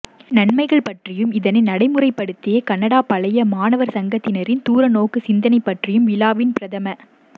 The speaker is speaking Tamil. நன்மைகள் பற்றியும் இதனை நடைமுறைப்படுத்திய கனடாப் பழைய மாணவர் சங்கத்தினரின் தூரநோக்குச் சிந்தனை பற்றியும் விழாவின் பிரதம